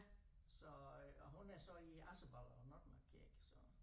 Så øh og hun er så i Asserballe og Notmark i dag så